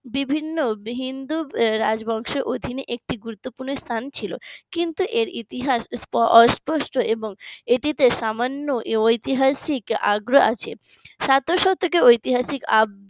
বিভিন্ন হিন্দু রাজবংশ অধীনে একটি গুরুত্বপূর্ণ স্থান ছিল কিন্তু এর ইতিহাস অস্পষ্ট এবং এটিতে সামান্য ঐতিহাসিক আগ্রহ আছে শতক শতকে ঐতিহাসিক